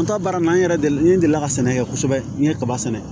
An ta baara in na n yɛrɛ delilen ka sɛnɛ kɛ kosɛbɛ n ye kaba sɛnɛ